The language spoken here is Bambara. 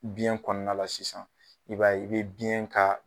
Biyɛn kɔɔna la sisan i b'a ye i be biyɛn ka